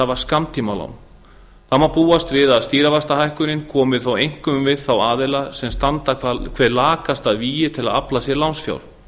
hafa skammtímalán það má búast við að stýrivaxtahækkunin komi þó einkum við þá aðila sem standa hvað lakast að vígi til að afla sér lánsfjár